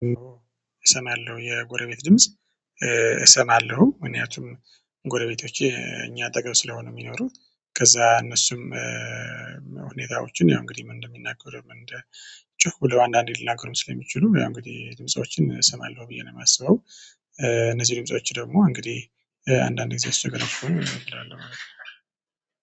እሰማለሁ የጎረቤት ድምጽ። እሰማለሁ ምክንያቱም ጎረቤቶቼ እኛ አጠገብ ስለሆኑ የሚኖሩ ከዛ እነሱም ሁኔታዎችን ያው እንግዲህ ምን እንደሚናገሩ ምን እንደ ጮህ ብለው አንዳንዴ ልናገርም ስለሚችሉ ወይ እንግዲህ ድምፆችን እሰማለሁ ብዬ ነው የማስበው። እነዚህ ድምጾች ደግሞ እንግዲህ አንዳንዴ እሱ ገና እላለሁ